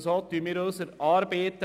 So bewältigen wir unsere Arbeiten.